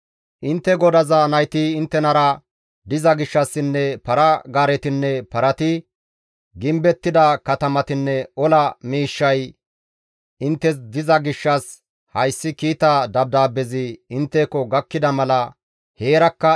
«Intte godaza nayti inttenara diza gishshassinne para-gaaretinne parati, gimbettida katamatinne ola miishshay inttes diza gishshas hayssi kiita dabdaabbezi intteko gakkida mala heerakka,